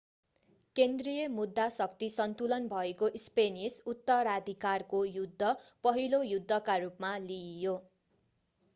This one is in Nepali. केन्द्रीय मुद्दा शक्ति सन्तुलन भएको स्पेनिस उत्तराधिकारको युद्ध पहिलो युद्धका रूपमा लिइयो